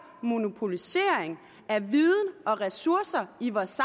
monopolisering af viden og ressourcer i vores